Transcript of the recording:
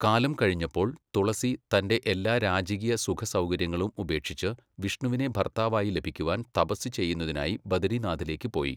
കാലം കഴിഞ്ഞപ്പോൾ, തുളസി തൻ്റെ എല്ലാ രാജകീയ സുഖസൗകര്യങ്ങളും ഉപേക്ഷിച്ച് വിഷ്ണുവിനെ ഭർത്താവായി ലഭിക്കുവാൻ തപസ്സ് ചെയ്യുന്നതിനായി ബദരീനാഥിലേക്ക് പോയി.